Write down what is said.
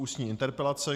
Ústní interpelace